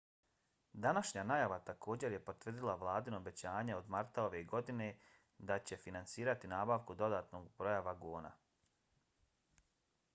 današnja najava također je potvrdila vladino obećanje od marta ove godine da će finansirati nabavku dodatnog broja vagona